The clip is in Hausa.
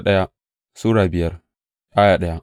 daya Timoti Sura biyar